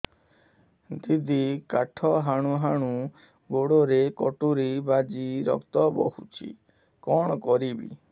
ଦିଦି କାଠ ହାଣୁ ହାଣୁ ଗୋଡରେ କଟୁରୀ ବାଜି ରକ୍ତ ବୋହୁଛି କଣ କରିବି